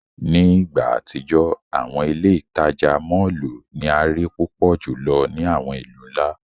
Ni igba atijọ, awọn ile-itaja mọllu ni a rii pupọ julọ ni awọn ilu nla.